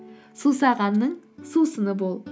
сусағанның сусыны бол